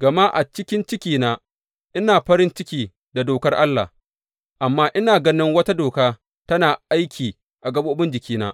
Gama a ciki cikina ina farin cikin da dokar Allah; amma ina ganin wata doka tana aiki a gaɓoɓin jikina,